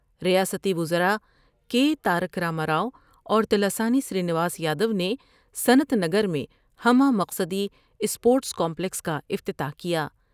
ریاستی وزرا کے تارک را ما را ؤاور تلاسانی سر ی نواس یادو نے صنعت نگر میں ہمہ مقصدی اسپورٹس کامپلکس کا افتتاح کیا ۔